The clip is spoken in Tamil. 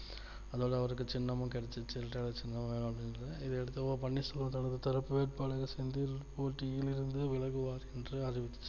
அதுனால அவருக்கு சின்னமும் கிடைச்சிருச்சு இரட்டை இலை சின்னம் இதை அடுத்து ஓ பன்னீர் செல்வம் அவர் தரப்பு வேட்பாளர் செந்தில் போட்டியில் இருந்து விலகுவார் என்று அறிவித்தார்